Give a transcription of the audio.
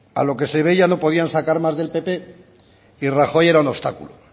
a lo que se ve ya no podían sacar más del pp y rajoy era un obstáculo